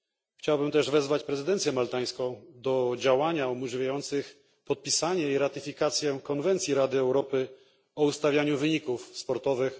Chciałbym też wezwać prezydencję maltańską do działań umożliwiających podpisanie i ratyfikację konwencji Rady Europy o ustawianiu wyników zawodów sportowych